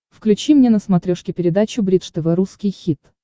включи мне на смотрешке передачу бридж тв русский хит